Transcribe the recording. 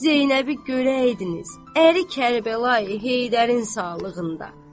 Zeynəbi görəydiniz əri Kərbəlayı Heydərin sağlığında.